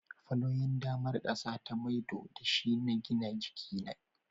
fallowing damar ƙasa ta maido da shi na gina jiki